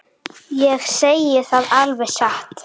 Ég segi það alveg satt.